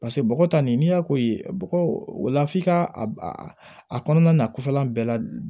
Paseke bɔgɔ ta nin n'i y'a ko ye bɔgɔlaf'i ka a kɔnɔna na kɔfɛlan bɛɛ la